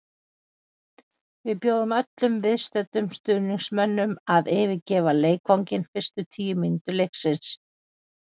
Við bjóðum öllum viðstöddum stuðningsmönnum að yfirgefa leikvanginn fyrstu tíu mínútur leiksins.